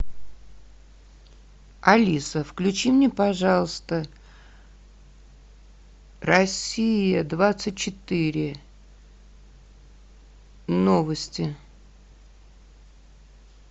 алиса включи мне пожалуйста россия двадцать четыре новости